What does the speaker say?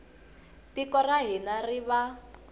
tiko ra hina ri va